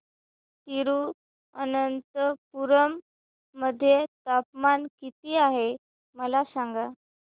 तिरूअनंतपुरम मध्ये तापमान किती आहे मला सांगा